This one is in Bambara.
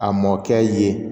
A mɔkɛ ye